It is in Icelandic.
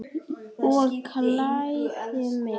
Ég klæði mig.